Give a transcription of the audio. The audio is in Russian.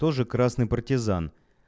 тоже красный партизан